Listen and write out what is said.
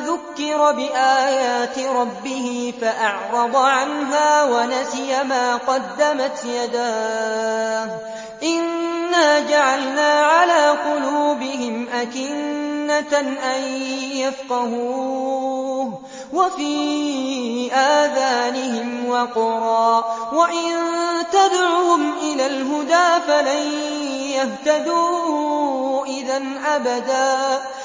ذُكِّرَ بِآيَاتِ رَبِّهِ فَأَعْرَضَ عَنْهَا وَنَسِيَ مَا قَدَّمَتْ يَدَاهُ ۚ إِنَّا جَعَلْنَا عَلَىٰ قُلُوبِهِمْ أَكِنَّةً أَن يَفْقَهُوهُ وَفِي آذَانِهِمْ وَقْرًا ۖ وَإِن تَدْعُهُمْ إِلَى الْهُدَىٰ فَلَن يَهْتَدُوا إِذًا أَبَدًا